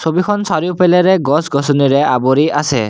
ছবিখন চাৰিওফালেৰে গছ গছনিৰে আৱৰি আছে।